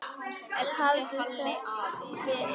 Hafðu þökk fyrir.